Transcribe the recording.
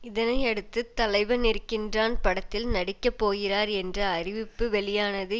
இதனையடுத்து தலைவன் இருக்கின்றான் படத்தில் நடிக்கப்போகிறார் என்ற அறிவிப்பு வெளியானது